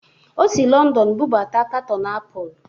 O si Lọndọn bụbata katọn apụl.